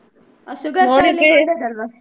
Sugar .